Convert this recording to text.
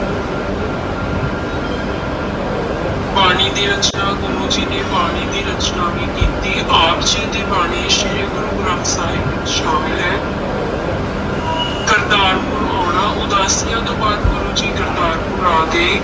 ਬਾਣੀ ਦੀ ਰਚਨਾ, ਗੁਰੂ ਜੀ ਨੇ ਬਾਣੀ ਦੀ ਰਚਨਾ ਵੀ ਕੀਤੀ, ਆਪ ਜੀ ਦੀ ਬਾਣੀ ਸ੍ਰੀ ਗੁਰੂ ਗ੍ਰੰਥ ਸਾਹਿਬ ਵਿੱਚ ਸ਼ਾਮਲ ਹੈ ਕਰਤਾਰਪੁਰ ਆਉਣਾ, ਉਦਾਸੀਆਂ ਤੋਂ ਬਾਅਦ ਗੁਰੂ ਜੀ ਕਰਤਾਰਪੁਰ ਆ ਗਏ,